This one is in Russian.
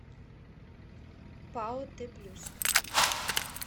пао т плюс